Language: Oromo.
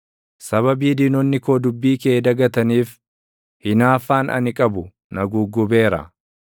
Sababii diinonni koo dubbii kee dagataniif, hinaaffaan ani qabu na guggubeera.